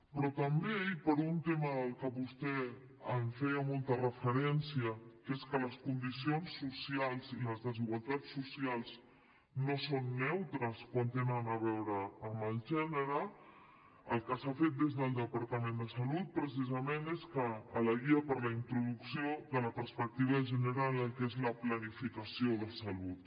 però també i per un tema al qual vostè feia molta referència que és que les condicions socials i les desigualtats socials no són neutres quan tenen a veure amb el gènere el que s’ha fet des del departament de salut precisament és que a la guia per a la introducció de la perspectiva de gènere en el que és la planificació de salut